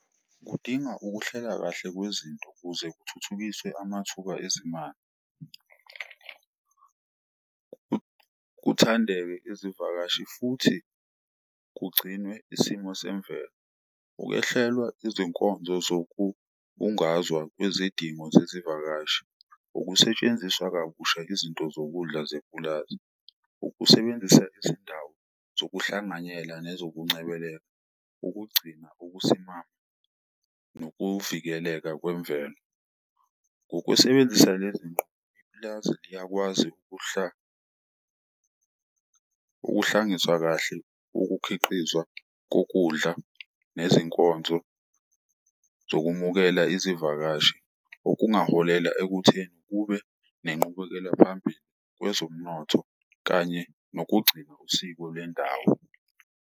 Kudinga ukuhlela kahle kwezinto ukuze kuthuthukiswe amathuba ezimali, kuthandeke izivakashi futhi kugcinwe isimo semvelo. Ukwehlelwa izinkonzo zokubungazwa kwezidingo zezivakashi. Ukusetshenziswa kabusha izinto zokudla zepulazi, ukusebenzisa izindawo zokuhlanganyela nezokuncebeleka, ukugcina ukusimama nokuvikeleka kwemvelo. Ngokusebenzisa lezi nqubo ipulazi liyakwazi ukuhlangiswa kahle ukukhiqizwa kokudla nezinkonzo zokumukela izivakashi. Okungaholela ekutheni kube nenqubekela phambili kwezomnotho kanye nokugcina usiko lwendawo.